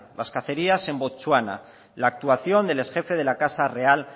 las cacerías en botswana la actuación del ex jefe de la casa real